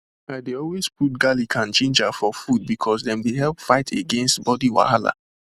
i dey always put garlic and ginger for food because dem dey help against body wahala